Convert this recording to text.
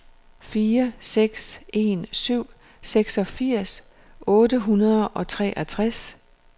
fire seks en syv seksogfirs otte hundrede og treogtres